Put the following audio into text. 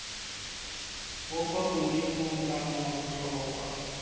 bo kwa godimo kana botlhokwa